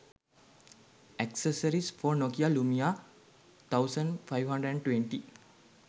accessories for nokia lumia 1520